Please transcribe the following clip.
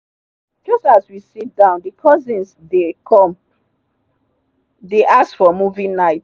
just as we sit down the cousins the come dey ask for movie night.